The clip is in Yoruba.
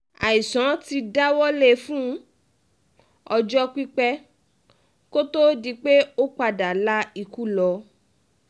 àìsàn ti dá a wọlé fún ọjọ́ pípẹ́ kó tóó di pé ó padà la ikú lọ